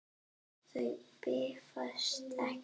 Þau bifast ekki.